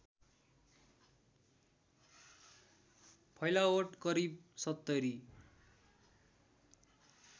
फैलावट करिब ७०